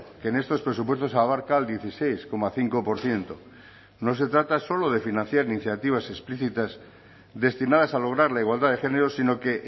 que en estos presupuestos abarca el dieciséis coma cinco por ciento no se trata solo de financiar iniciativas explícitas destinadas a lograr la igualdad de género sino que